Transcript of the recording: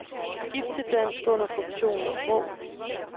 Skift til dansk under funktionen sprog.